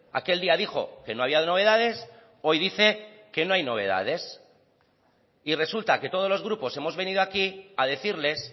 aquel día dijo que no había novedades hoy dice que no hay novedades y resulta que todos los grupos hemos venido aquí a decirles